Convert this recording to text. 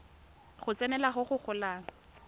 go tsenelela go go golang